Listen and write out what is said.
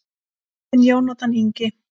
Þinn Jónatan Ingi.